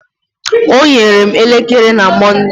O nyere m elekere na Monde.